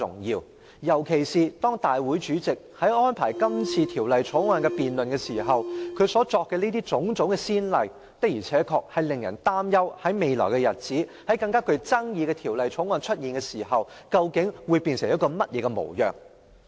尤其是，立法會主席今次在安排《條例草案》辯論時作出的種種先例，確實令人擔憂在未來的日子，當我們須審議更具爭議性的法案時，本會究竟會變成甚麼模樣。